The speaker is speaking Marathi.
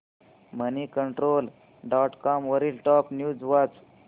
मनीकंट्रोल डॉट कॉम वरील टॉप न्यूज वाच